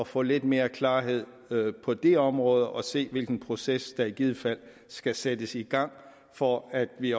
få lidt mere klarhed på det område og se hvilken proces der i givet fald skal sættes i gang for at vi